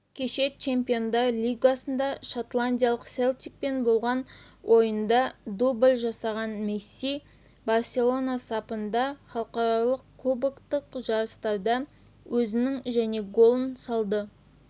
кеше чемпиондар лигасында шотландиялық селтикпен болған ойында дубль жасаған месси барселона сапында халықаралық клубтық жарыстарда өзінің және голын салды